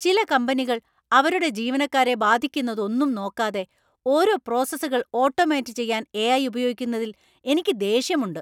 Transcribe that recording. ചില കമ്പനികൾ അവരുടെ ജീവനക്കാരെ ബാധിക്കുന്നതൊന്നും നോക്കാതെ ഓരോ പ്രോസസുകൾ ഓട്ടോമേറ്റ് ചെയ്യാൻ എ.ഐ. ഉപയോഗിക്കുന്നതിൽ എനിക്ക് ദേഷ്യമുണ്ട്.